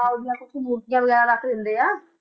ਹਾਂ ਉਹਦੀਆਂ ਕੁਛ ਮੂਰਤੀਆਂ ਵਗ਼ੈਰਾ ਰੱਖ ਦਿੰਦੇ ਆ,